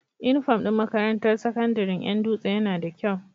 Inufom din makarantar sakandarin Yan dutse Yana da kyau